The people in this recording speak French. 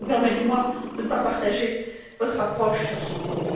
Permettez moi donc de ne pas partager votre approche sur ce point.